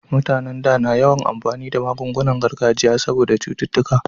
Mutanen da na yawan amfani da magungunan gargajiya saboda cututtuka